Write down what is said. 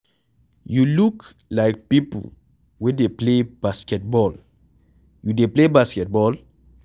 You look like people wey dey play basketball. You dey play basketball?